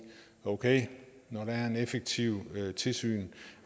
okay når der er et effektivt tilsyn